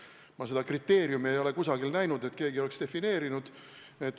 Ma ei ole näinud, et keegi oleks seda kriteeriumi kusagil defineerinud.